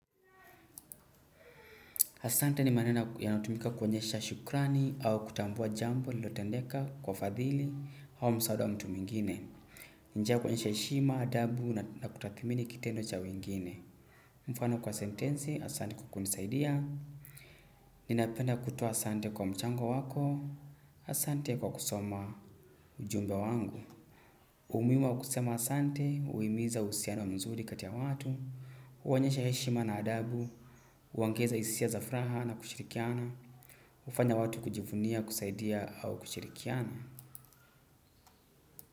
Asante ni maneno yanatumika kuonyesha shukrani au kutambua jambo lililotendeka kwa fadhili au msaada wa mtu mwingine. Njia ya kuonyesha heshima, adabu na kutathmini kitendo cha wengine. Mfano kwa sentensi, asante kwa kunisaidia. Ninapenda kutoa asante kwa mchango wako, asante kwa kusoma ujumbe wangu. Umuhimu wa kusema asante, huimiza uhusiano mzuri kati ya watu, huonyesha heshima na adabu, huongeza hisia za furaha na kushirikiana. Hufanya watu kujivunia, kusaidia au kushirikiana?